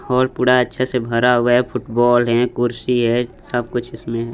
Hall पूरा अच्छे से भरा हुआ है फुटबॉल है कुर्सी है सब कुछ इसमें है।